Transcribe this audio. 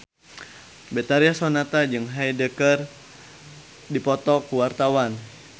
Betharia Sonata jeung Hyde keur dipoto ku wartawan